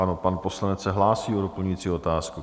Ano, pan poslanec se hlásí o doplňující otázku.